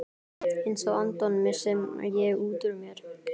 Einsog Anton, missi ég útúr mér.